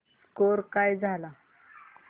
score काय झाला